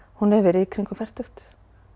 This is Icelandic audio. hún hefur verið í kringum fertugt